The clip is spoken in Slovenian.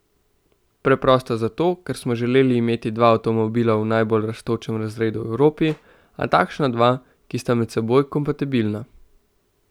Preprosto zato, ker smo želeli imeti dva avtomobila v najbolj rastočem razredu v Evropi, a takšna dva, ki sta med seboj kompatibilna.